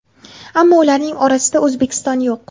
Ammo ularning orasida O‘zbekiston yo‘q.